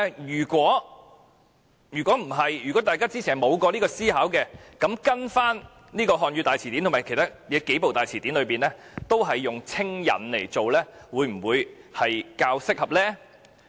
如大家之前沒有思考過這個問題，根據《漢語大詞典》及其他數部大辭典，"稱引"會否更適合呢？